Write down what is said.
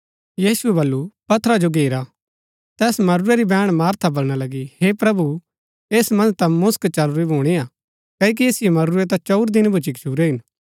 यीशुऐ बल्लू पत्थरा जो घेरा तैस मरूरै री बैहण मरियम बलणा लगी हे प्रभु ऐस मन्ज ता मुसक चलुरी भूणी हा क्ओकि ऐसिओ मरूरै ता चंऊर दिन भूच्ची गच्छुरै हिन